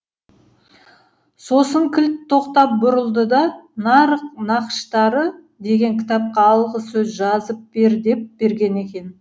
сосын кілт тоқтап бұрылды да нарық нақыштары деген кітапқа алғы сөз жазып бер деп берген екен